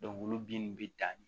olu binnu bɛ dan